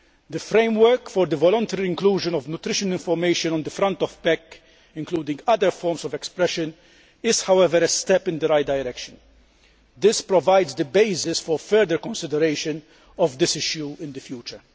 The framework for the voluntary inclusion of nutrition information on the front of packs, including other forms of expression, is, however, a step in the right direction. This provides the basis for further consideration of this issue in the future.